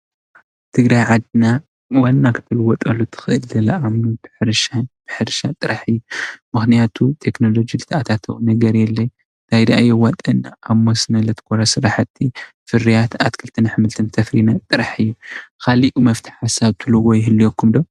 ትግራይ ዓድና ዋና ክትልወጠሉ እትክእል ብግብርናን ብሕርሻን ሕርሻን ጥራሕ እዩ። ምክንያቱ ቴክኖሎጂ ዝተኣታተወን ነገር የለን እንተዳኣየዋፀና ኣብ መስኖ ዘትኮረ ስራሕቲ ፍርያት ኣትክልትን ኣሕልትን እተፍርይ ጥራሕ እዩ። ካልእ መፍትሒ ንሰብ እትብልዎ ይህልዎኩም ዶ?